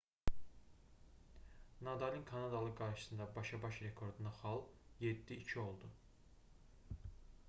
nadalın kanadalı qarşısında başa-baş rekordunda xal 7:2 oldu